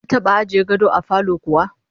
An taba ajiye gado a falo kuwa?